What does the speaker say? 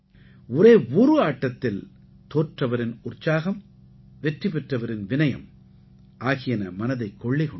ஒரே ஒரு ஆட்டத்தில் தோற்றவரின் உற்சாகம் வெற்றி பெற்றவரின் விநயம் ஆகியன மனதைக் கொள்ளை கொண்டன